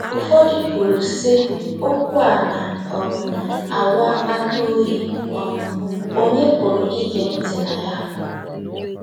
Ụfọdụ kwuru, sị: “ Okwu a na um - awụ akpata oyi; um ònye pụrụ ige ntị na ya? ”